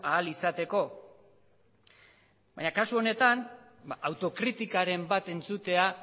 ahal izateko baina kasu honetan autokritikaren bat entzutea